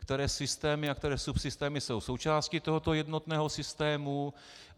Které systémy a které subsystémy jsou součástí tohoto jednotného systému?